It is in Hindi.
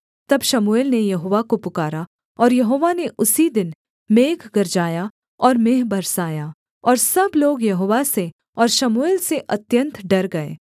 तब शमूएल ने यहोवा को पुकारा और यहोवा ने उसी दिन मेघ गरजाया और मेंह बरसाया और सब लोग यहोवा से और शमूएल से अत्यन्त डर गए